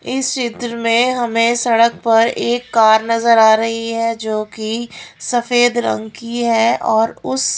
इस चित्र में हमें सड़क पर एक कार नजर आ रही है जोकि सफेद रंग की है और उस--